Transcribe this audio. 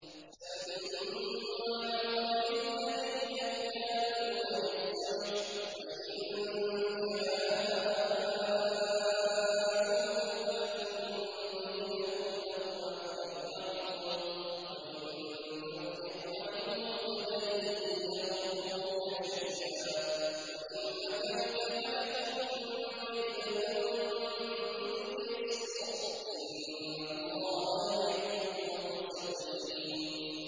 سَمَّاعُونَ لِلْكَذِبِ أَكَّالُونَ لِلسُّحْتِ ۚ فَإِن جَاءُوكَ فَاحْكُم بَيْنَهُمْ أَوْ أَعْرِضْ عَنْهُمْ ۖ وَإِن تُعْرِضْ عَنْهُمْ فَلَن يَضُرُّوكَ شَيْئًا ۖ وَإِنْ حَكَمْتَ فَاحْكُم بَيْنَهُم بِالْقِسْطِ ۚ إِنَّ اللَّهَ يُحِبُّ الْمُقْسِطِينَ